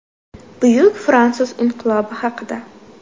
Buyuk fransuz inqilobi haqida.